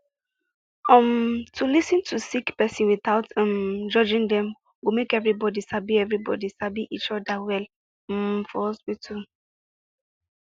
um to lis ten to sick person without um judging dem go make everybody sabi everybody sabi each oda well um for hospital